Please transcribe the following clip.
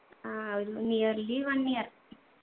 ആ ഒരു nearly one year